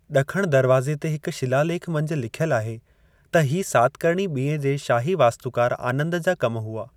ॾखण दरवाज़े ते हिक शिला लेखु मंझि लिखियलु आहे त हीउ सातकर्णी ॿिएं जे शाही वास्तुकारु आनंदु जा कम हुआ।